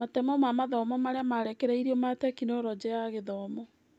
Matemo ma mathomo marĩa marekereirio ma Tekinoronjĩ ya Githomo.